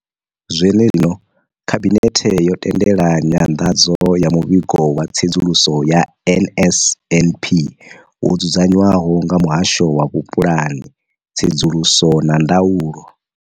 Zwenezwino, Khabinethe yo tendela nyanḓadzo ya Muvhigo wa Tsedzuluso ya NSNP wo dzudzanywaho nga Muhasho wa Vhupulani, Tsedzuluso na Ndaulo.